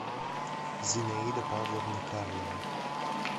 зинаида павловна карлова